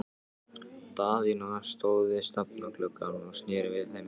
Daðína stóð við stafngluggann og sneri við þeim baki.